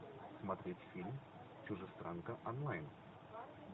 смотреть фильм чужестранка онлайн